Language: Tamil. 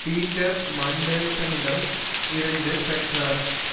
பீட்டர் மண்டெல்சனிடம் இருந்து பெற்றார்